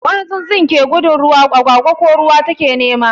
Wani tsutsun ke gudun ruwa, agwagwa ko ruwa ta ke nema.